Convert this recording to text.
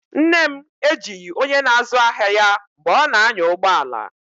Nne m ejighị onye na-azụ ahịa ya mgbe ọ na-anya ụgbọ ala.